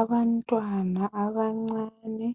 Abantwana abancane